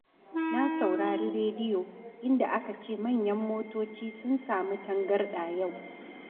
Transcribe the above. Na saurari rediyo, inda aka ce manyan motoci sun samu tagarɗa yau.